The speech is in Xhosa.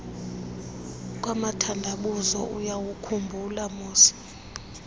kwamathandabuzo uyawukhumbula moss